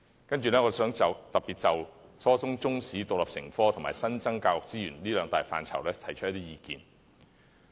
接下來，我想特別就初中中史獨立成科及新增教育資源兩大範疇提出一些意見。